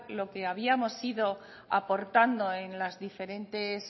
lo que habíamos ido aportando en las diferentes